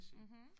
Mhm